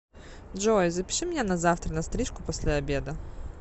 джой запиши меня на завтра на стрижку после обеда